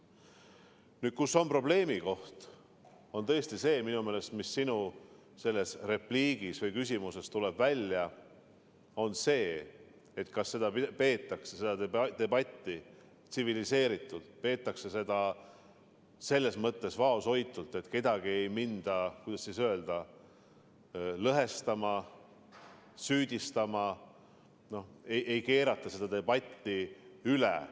Nüüd, probleemikoht on tõesti minu meelest see, mis sinu repliigist või küsimusest välja tuleb: see, kas seda debatti peetakse tsiviliseeritult, peetakse seda vaoshoitult, kedagi ei minda, kuidas öelda, lõhestama, süüdistama, ei keerata vinti üle.